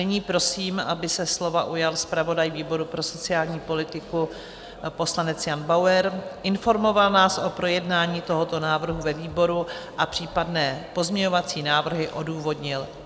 Nyní prosím, aby se slova ujal zpravodaj výboru pro sociální politiku, poslanec Jan Bauer, informoval nás o projednání tohoto návrhu ve výboru a případné pozměňovací návrhy odůvodnil.